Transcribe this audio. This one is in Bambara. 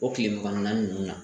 O kile man